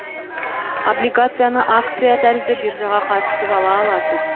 облигацияны акция тәрізді биржаға қатысып ала аласыз